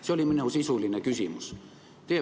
See oli minu sisuline küsimus.